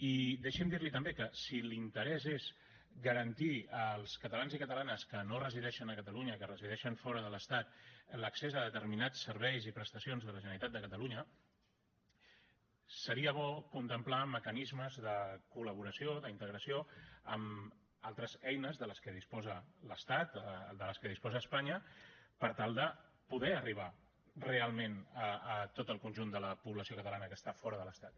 i deixi’m dir li també que si l’interès és garantir als catalans i catalanes que no resideixen a catalunya que resideixen fora de l’estat l’accés a determinats serveis i prestacions de la generalitat de catalunya seria bo contemplar mecanismes de col·laboració d’integració amb altres eines de què disposa l’estat de què disposa espanya per tal de poder arribar realment a tot el conjunt de la població catalana que està fora de l’estat